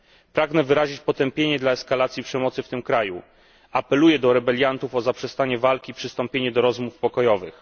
Pragnę wyrazić potępienie dla eskalacji przemocy w tym kraju. Apeluję do rebeliantów o zaprzestanie walki i przystąpienie do rozmów pokojowych.